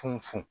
Funu funu